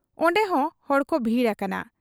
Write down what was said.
ᱚᱱᱰᱮᱦᱚᱸ ᱦᱚᱲᱠᱚ ᱵᱷᱤᱲ ᱟᱠᱟᱱᱟ ᱾